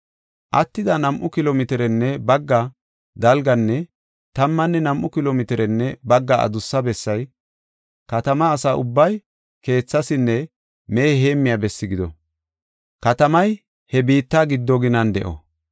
“Attida nam7u kilo mitirenne bagga dalganne tammanne nam7u kilo mitirenne bagga adussa bessay katamaa asa ubbay keethaasinne mehe heemmiya besse gido; katamay he biitta giddo ginan de7o.